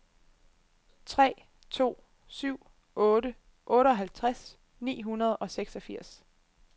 tre to syv otte otteoghalvtreds ni hundrede og seksogfirs